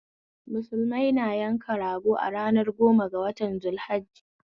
Musulmai na yanka rago a ranar goma ga watan zul hajji